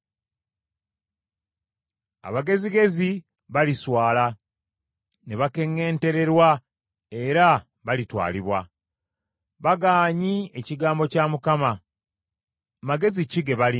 Abagezigezi baliswala ne bakeŋŋentererwa era balitwalibwa. Bagaanyi ekigambo kya Mukama , magezi ki ge balina?